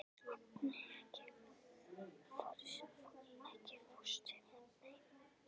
Agni, ekki fórstu með þeim?